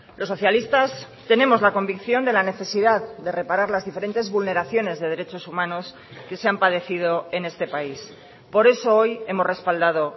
los socialistas tenemos la convicción de la necesidad de reparar las diferentes vulneraciones de derechos humanos que se han padecido en este país por eso hoy hemos respaldado